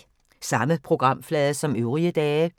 Samme programflade som øvrige dage